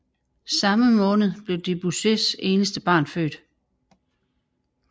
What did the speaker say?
Samme måned blev Debussys eneste barn født